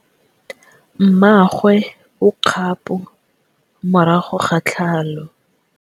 Mmagwe o kgapô morago ga tlhalô.